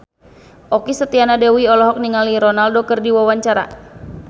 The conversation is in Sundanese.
Okky Setiana Dewi olohok ningali Ronaldo keur diwawancara